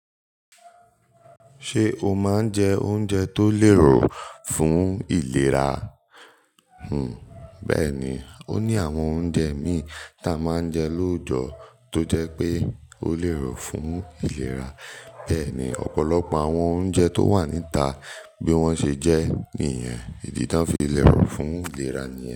Ṣé o máa ń jẹ oúnjẹ tó lérò fún ìlera? Hmm. Bẹ́ẹ̀ni, ó ní àwọn oúnjẹ mí tí a máa ń jẹ lóòjọ́ tó jẹ́ pé ó lérò fún ìlera. Bẹ́ẹ̀ni, ọ̀pọ̀lọpọ̀ àwọn oúnjẹ tó wà níta bí wọ́n ṣe jẹ́ nìyẹn, ìdí tí wọ́n fi lérò fún ìlera nìyẹn.